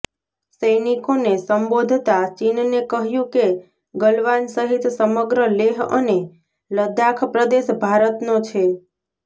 સૈનિકોને સંબોધતા ચીનને કહ્યુ કે ગલવાન સહીત સમગ્ર લેહ અને લદ્દાખ પ્રદેશ ભારતનો છે